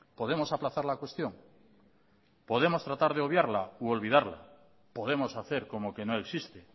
podemos aplazar la cuestión podemos tratar de obviarla u olvidarla podemos hacer como que no existe